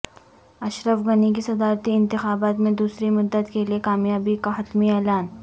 اشرف غنی کی صدارتی انتخابات میں دوسری مدت کے لیے کامیابی کا حتمی اعلان